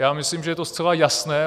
Já myslím, že je to zcela jasné.